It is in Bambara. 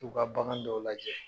K'u ka bagan dɔw lajɛ.